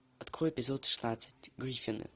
открой эпизод шестнадцать гриффины